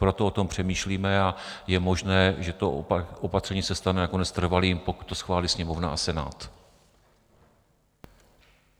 Proto o tom přemýšlíme a je možné, že to opatření se stane nakonec trvalým, pokud to schválí Sněmovna a Senát.